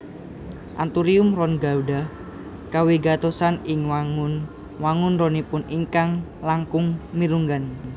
Anthurium ron gadhah kawigatosan ing wangun wangun ronipun ingkang langkung mirunggan